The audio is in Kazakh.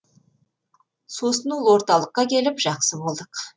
сосын ол орталыққа келіп жақсы болдық